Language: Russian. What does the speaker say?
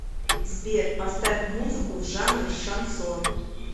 сбер поставь музыку в жанре шансон